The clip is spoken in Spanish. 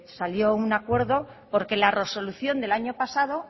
salió un acuerdo porque laresolución del año pasado